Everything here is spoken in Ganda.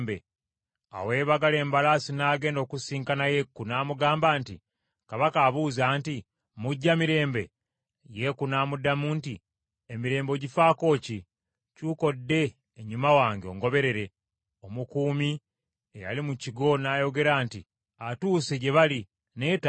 Awo eyeebagala embalaasi n’agenda okusisinkana Yeeku, n’amugamba nti, “Kabaka abuuza nti, ‘Mujja mirembe?’ ” Yeeku n’amuddamu nti, “Emirembe ogifaako ki? Kyuka odde ennyuma wange ongoberere.” Omukuumi eyali mu kigo n’ayogera nti, “Atuuse gye bali, naye tadda.”